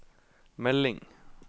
melding